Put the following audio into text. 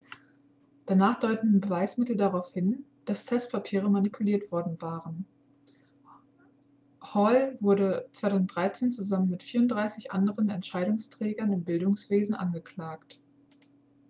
danach deuteten beweismittel darauf hin dass testpapiere manipuliert worden waren hall wurde 2013 zusammen mit 34 anderen entscheidungsträgern im bildungswesen angeklagt